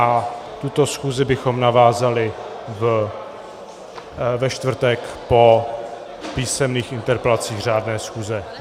A tuto schůzi bychom navázali ve čtvrtek po písemných interpelacích řádné schůze.